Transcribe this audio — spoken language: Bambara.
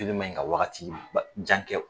Joli man ɲi ka wagati ba jan kɛ.